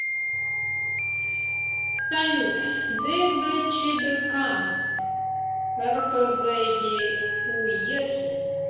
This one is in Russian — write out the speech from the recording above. салют дбчбк рпвеуедхен